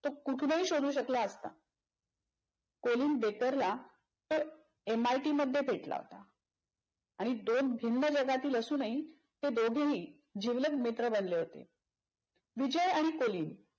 कुठूनही शोधू शकला असता. कोलिन बेतरला तर एम आय टी मध्ये भेटला होता आणि दोन भिन्न जगातील जगातील असूनही ते दोघेही जिवलग मित्र बनले होते. विजय आणि कोलिन